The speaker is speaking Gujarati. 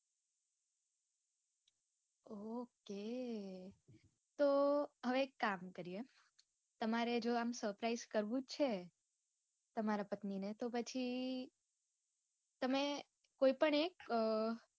Okay તો હવે એક કામ કરીયે તમારે જો આમ suprise કરવુ જ છે તમારા પત્ની ને તો પછી તમે કોય પણ એક